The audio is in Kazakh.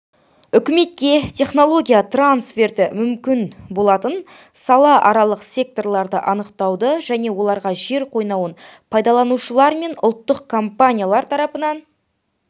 үкіметке технология трансферті мүмкін болатын салааралық секторларды анықтауды және оларға жер қойнауын пайдаланушылар мен ұлттық компаниялар тарапынан